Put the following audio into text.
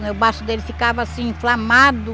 O baço dele ficava assim inflamado.